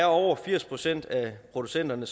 over firs procent af producenterne